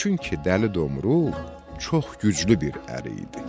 Çünki Dəli Domrul çox güclü bir ər idi.